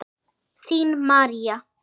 Þín, María.